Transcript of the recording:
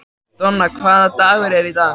Donna, hvaða dagur er í dag?